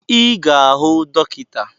I ga-ahụ dọkịta